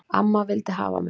Amma vildi hafa mig.